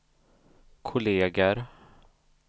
kolleger